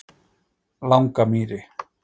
Langamýri